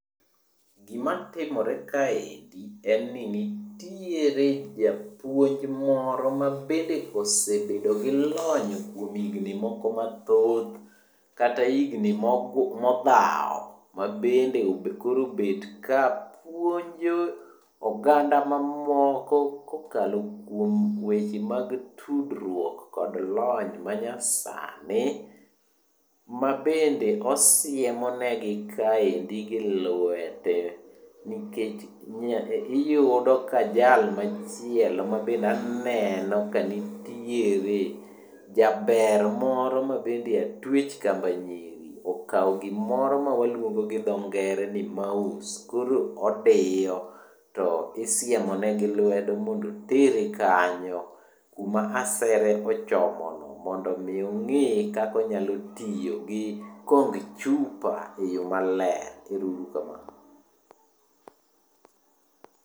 Gima timore kaendi en ni nitiere japuonj moro mabede osebedo gi lony kuom higni moko mathoth kata higni modhaw mabende koro obet ka puonjo oganda mamoko kokalo kuom weche mag tudruok kod lony manyasani mabende osiemo negi kaendi gi lwete. Nikech iyudo ka jal machielo mabe aneno kanitiere jaber moro mabende atwech kamba nyisi okaw gimoro gi dho ngere ma waluongo ni mouse koro odiyo to isiemo ne gi lwedo mondo otere kanyo kuma asere ochomono mondo mi onge kaka onyalo tiyo gi kong chupa e yo maler.